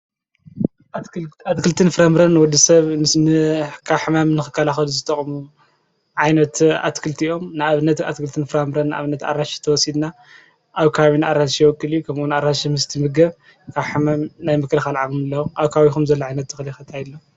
ኣትክልትን ፍራምረን ወዲ ሰብ ንንሕካሕማም ንኽካላኽዱ ዝተቕሙ ዓይነት ኣትክልቲ ኦም ንኣብነት ኣትክልትን ፍራምርን ንኣብነት ኣራሽ ተወሲድና ኣውካዊን ኣራሽ የወቅል ከምኡን ኣራሽ ምስቲ ምገብ ካሕማም ናይ ምክልኻ ኣልዓኹምለዉ ኣውካዊኹም ዘለዓይነት ኽሊኸትይሎ